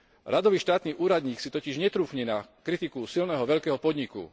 Radový štátny úradník si totiž netrúfne na kritiku silného veľkého podniku.